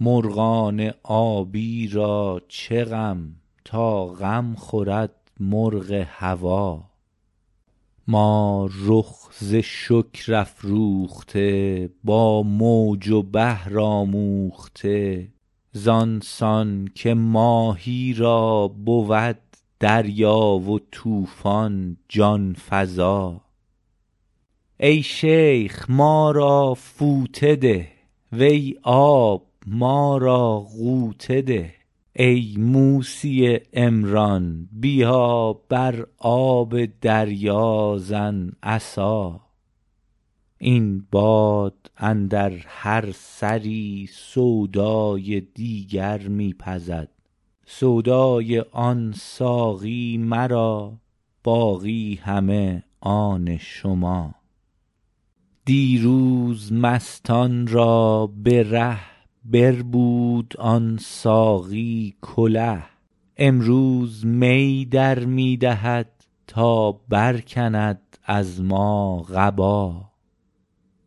مرغان آبی را چه غم تا غم خورد مرغ هوا ما رخ ز شکر افروخته با موج و بحر آموخته زان سان که ماهی را بود دریا و طوفان جان فزا ای شیخ ما را فوطه ده وی آب ما را غوطه ده ای موسی عمران بیا بر آب دریا زن عصا این باد اندر هر سری سودای دیگر می پزد سودای آن ساقی مرا باقی همه آن شما دیروز مستان را به ره بربود آن ساقی کله امروز می در می دهد تا برکند از ما قبا